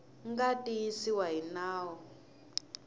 nga tiyisiwa hi va nawu